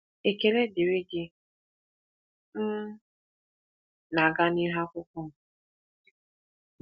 Ekele dịrị gị, m na-aga n’ihu n’akwụkwọ m.